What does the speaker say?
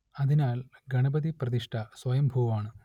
അതിനാൽ ഗണപതിപ്രതിഷ്ഠ സ്വയംഭൂവാണ്